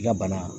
I ka bana